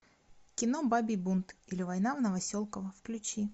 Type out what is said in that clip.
кино бабий бунт или война в новоселково включи